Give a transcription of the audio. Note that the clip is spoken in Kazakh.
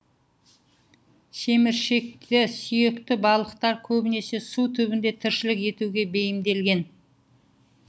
шеміршекті сүйекті балықтар көбінесе су түбінде тіршілік етуге бейімделген